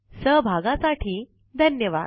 सहभागासाठी धन्यवाद